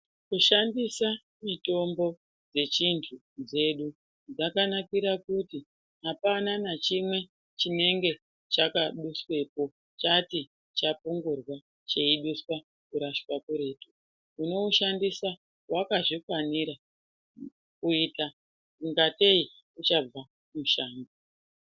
Kushandisa mitombo dzechintu dzedu dzakanakira kuti hapana nachimwe chinenge chakaduswepo chati chapungurwa cheiduswa kurashwa kuretu. Unoushandisa wakazvikwanira kuita ingatei uchabva mushango.